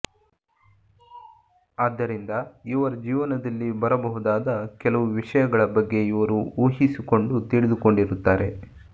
ಆದ್ದರಿಂದ ಇವರ ಜೀವನದಲ್ಲಿ ಬರ ಬಹುದಾದ ಕೆಲವು ವಿಷಯಗಳ ಬಗ್ಗೆ ಇವರು ಊಹಿಸಿಕೊಂಡು ತಿಳಿದುಕೊಂಡಿರುತ್ತಾರೆ